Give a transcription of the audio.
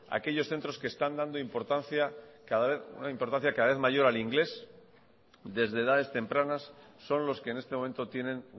aquellos centros que están dando importancia cada vez mayor al ingles desde edades tempranas son los que en este momento tienen